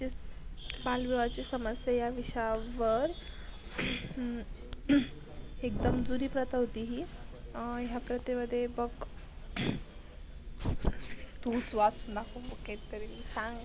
बालविवाह समस्या या विषयवार एकदम जुनिप्रथा होती ही. या प्रथा मध्ये बग विश्वास नको मुकेत तरी सांग